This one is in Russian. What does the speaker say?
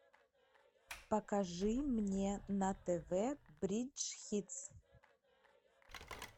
покажи мне на тв бридж хитс